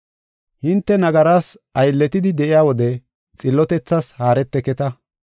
Hinte nagaras aylletidi de7iya wode xillotethas haareteketa.